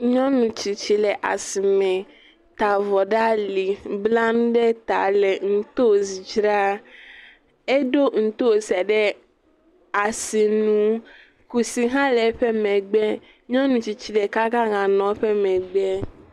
N yɔnu tsitsi le asime, ta avɔ ɖe ali, bla nu ɖe ta le ntosi dzra. Eɖo ntosiɛ ɖe asinu. Kusi hã le eƒe megbe